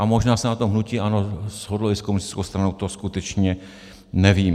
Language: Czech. A možná se na tom hnutí ANO shodlo i s komunistickou stranou, to skutečně nevím.